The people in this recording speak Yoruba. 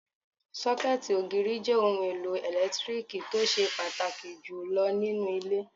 Sọ́kẹ̀tì ògiri jẹ́ ohun èlò ẹlẹtíríkì tó ṣe pàtàkì jù lọ nínú ilé